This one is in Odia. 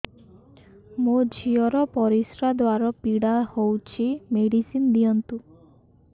ମୋ ଝିଅ ର ପରିସ୍ରା ଦ୍ଵାର ପୀଡା ହଉଚି ମେଡିସିନ ଦିଅନ୍ତୁ